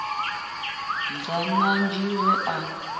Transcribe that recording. ḓa na nzhi we a